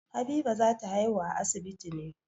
Habiba za ta haihu a asibiti ne.